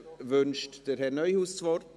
Wünscht Herr Neuhaus das Wort?